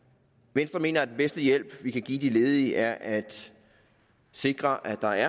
venstre mener at den bedste hjælp vi kan give de ledige er at sikre at der